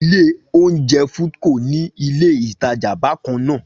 Ilé oúnjẹ Foodco ní ilé ìtajà bákan náà